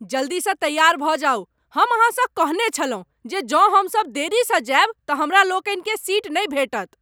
जल्दीसँ तैयार भऽ जाउ! हम अहाँसँ कहने छलहुँ जे जौं हम सब देरी सँ जाएब तऽ हमरा लोकनिकें सीट नहि भेटत।